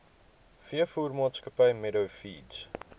veevoermaatskappy meadow feeds